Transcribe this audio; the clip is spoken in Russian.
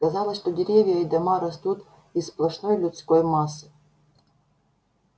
казалось что деревья и дома растут из сплошной людской массы